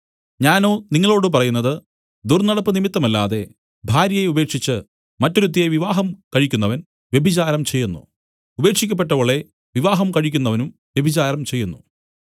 ഞാനോ നിങ്ങളോടു പറയുന്നത് ദുർന്നടപ്പുനിമിത്തമല്ലാതെ ഭാര്യയെ ഉപേക്ഷിച്ച് മറ്റൊരുത്തിയെ വിവാഹം കഴിക്കുന്നവൻ വ്യഭിചാരം ചെയ്യുന്നു ഉപേക്ഷിക്കപ്പെട്ടവളെ വിവാഹം കഴിക്കുന്നവനും വ്യഭിചാരം ചെയ്യുന്നു